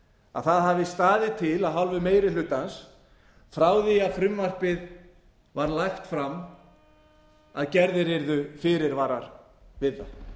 að það hafi staðið til af hálfu meiri hlutans frá því að frumvarpið var lagt fram að gerðir yrðu fyrirvarar við